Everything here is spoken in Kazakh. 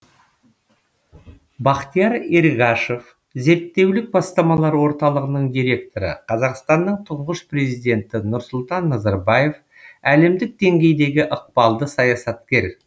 бахтияр эргашев зерттеулік бастамалар орталығының директоры қазақстанның тұңғыш президенті нұрсұлтан назарбаев әлемдік деңгейдегі ықпалды саясаткер